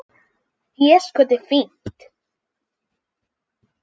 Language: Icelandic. Déskoti fínt.